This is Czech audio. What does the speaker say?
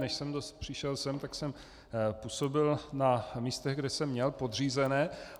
Než jsem přišel sem, tak jsem působil na místech, kde jsem měl podřízené.